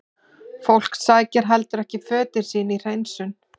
Fólk sækir heldur ekki fötin sín í hreinsun?